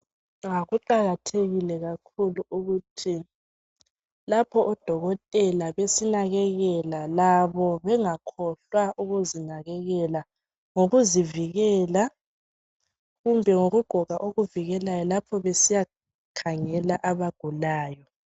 Kuqakathekile kakhulu ukuthi lapho odokotela besinakekela, labo bengakohlwa ukuzinakekela, lokuzivikela, kumbe ngokugqoka okuvikelayo lapho besiyakhangela abagulayo.